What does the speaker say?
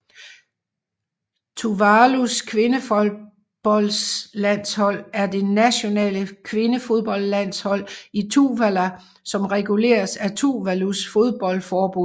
Tuvalus kvindefodboldlandshold er det nationale kvindefodboldlandshold i Tuvalu som reguleres af Tuvalus fodboldforbund